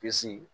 Bisi